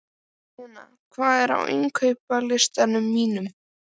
Linnea, hvað er á innkaupalistanum mínum?